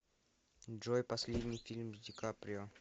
джой последний фильм с ди каприо